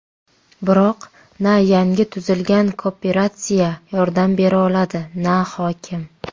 Biroq na yangi tuzilgan kooperatsiya yordam beroladi, na hokim.